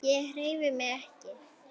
Ég hreyfi mig ekki.